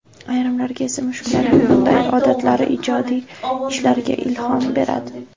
Ayrimlarga esa mushuklarning bunday odatlari ijodiy ishlarga ilhom beradi.